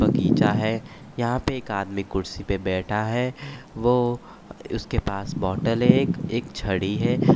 बगीचा है यहाँ पर एक आदमी कुर्सी पर बैठा है वो उसके पास बोतल है एक एक छड़ी हैं।